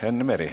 Enn Meri.